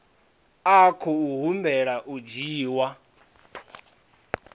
a khou humbela u dzhiwa